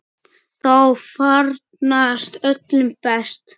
Þá farnast öllum best.